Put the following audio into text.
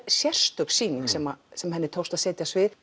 sérstök sýning sem sem henni tókst að setja á svið